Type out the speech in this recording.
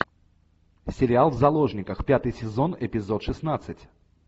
сериал в заложниках пятый сезон эпизод шестнадцать